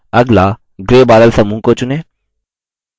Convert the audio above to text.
अगला gray बादल समूह को चुनें